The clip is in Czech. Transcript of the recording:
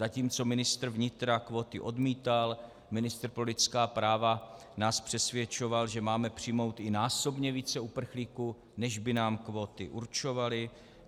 Zatímco ministr vnitra kvóty odmítal, ministr pro lidská práva nás přesvědčoval, že máme přijmout i násobně více uprchlíků, než by nám kvóty určovaly.